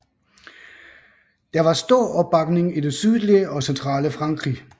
Der var stor opbakning i det sydlige og centrale Frankrig